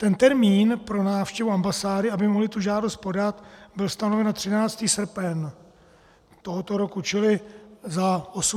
Ten termín pro návštěvu ambasády, aby mohli tu žádost podat, byl stanoven na 13. srpen tohoto roku, čili za 82 dnů.